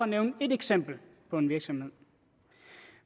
nævne et eksempel på en virksomhed